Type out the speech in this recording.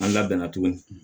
An labɛnna tuguni